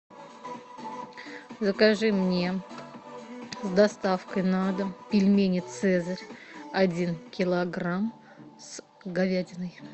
закажи мне с доставкой на дом пельмени цезарь один килограмм с говядиной